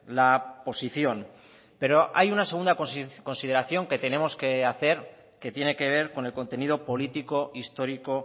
la posición pero hay una segunda consideración que tenemos que hacer que tiene que ver con el contenido político histórico